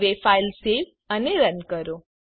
હવે file save અને run કરો